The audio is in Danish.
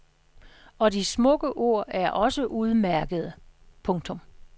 Og de smukke ord er også udmærkede. punktum